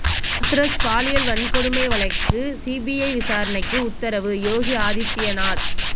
ஹாத்ரஸ் பாலியல் வன்கொடுமை வழக்கு சிபிஐ விசாரணைக்கு உத்தரவு யோகி ஆதித்யநாத்